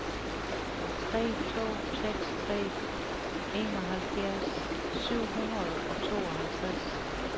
tre to seks tre enoghalvfjerds syv hundrede og tooghalvtreds